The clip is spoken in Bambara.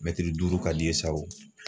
Mɛtiri duuru ka d'i ye sa o.